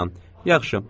“Yaxşı, əlvida.”